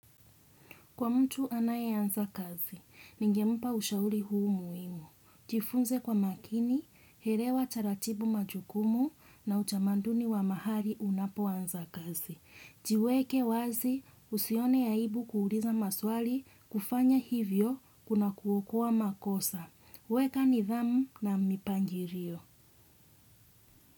Kwa mtu anaye anza kazi, ningempa ushauri huu muhimu. Jifunze kwa makini, elewa taratibu majukumu na utamanduni wa mahali unapoanza kazi. Jiweke wazi usione aibu kuuliza maswali kufanya hivyo kuna kuokoa makosa. Weka nidhamu na mipangilio.